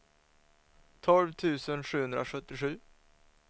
tolv tusen sjuhundrasjuttiosju